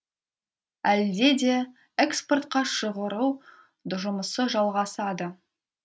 әлде де экспортқа шығару жұмысы жалғасады